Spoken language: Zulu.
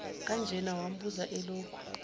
kanjena wambuza elokhu